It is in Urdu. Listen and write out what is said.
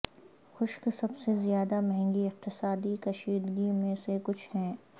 خشک سب سے زیادہ مہنگی اقتصادی کشیدگی میں سے کچھ ہیں